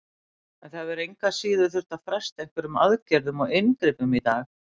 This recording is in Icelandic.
En það hefur engu að síður þurft að fresta einhverjum aðgerðum og inngripum í dag?